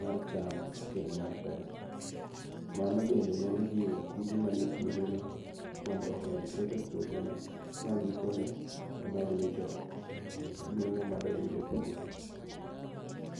mar cham kendo mar pesa. Mano bende nyalo jiwo kute mani e puodho no mondo omed ketho puothe no magikone omed wito nueng'o madoyud e puodho.